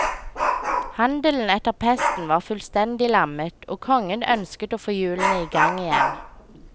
Handelen etter pesten var fullstendig lammet og kongen ønsket å få hjulene igang igjen.